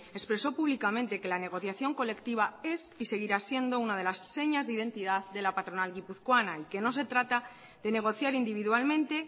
expresó públicamente que la negociación colectiva es y seguirá siendo una de las señas de identidad de la patronal guipuzcoana y que no se trata de negociar individualmente